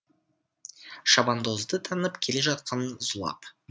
шабандозды танып келе жатқан зулап